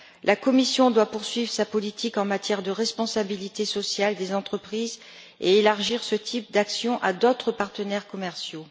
La Commission doit poursuivre sa politique en matière de responsabilité sociale des entreprises et élargir ce type d'action à d'autres partenaires commerciaux.